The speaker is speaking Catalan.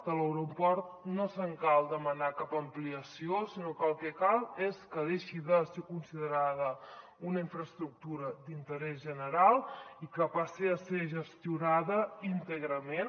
de l’aeroport no cal demanar ne cap ampliació sinó que el que cal és que deixi de ser considerada una infraestructura d’interès general i que passi a ser gestionada íntegrament